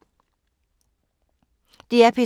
DR P2